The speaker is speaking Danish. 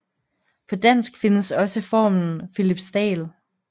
På dansk findes også formen Philipsdal